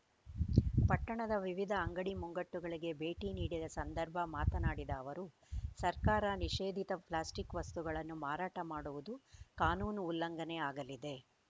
ಪಟ್ಟಣದ ವಿವಿಧ ಅಂಗಡಿ ಮುಂಗಟ್ಟುಗಳಿಗೆ ಭೇಟಿ ನೀಡಿದ ಸಂದರ್ಭ ಮಾತನಾಡಿದ ಅವರು ಸರ್ಕಾರ ನಿಷೇಧಿತ ಪ್ಲಾಸ್ಟಿಕ್‌ ವಸ್ತುಗಳನ್ನು ಮಾರಾಟ ಮಾಡುವುದು ಕಾನೂನು ಉಲ್ಲಂಘನೆ ಆಗಲಿದೆ